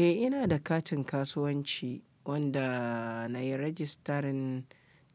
Eh ina da katin kasuwanci wanda na yi rajistarin